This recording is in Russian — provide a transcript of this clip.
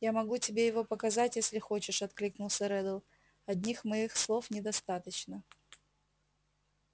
я могу тебе его показать если хочешь откликнулся реддл одних моих слов недостаточно